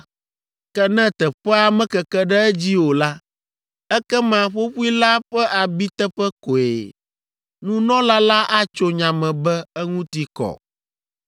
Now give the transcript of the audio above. Ke ne teƒea mekeke ɖe edzi o la, ekema ƒoƒoe la ƒe abiteƒe koe. Nunɔla la atso nya me be eŋuti kɔ.